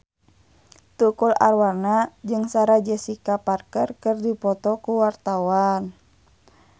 Tukul Arwana jeung Sarah Jessica Parker keur dipoto ku wartawan